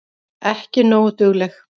Ekki nógu dugleg.